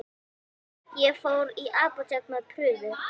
Ég fór í apótek með prufu.